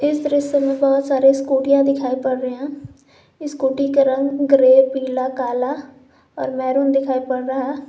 इस दृश्य में बहुत सारे स्कूटीयां दिखाई पड़ रहे हैं स्कूटी के रंग ग्रे पीला काला और मैरून दिखाई पड़ रहा है।